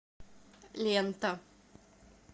лента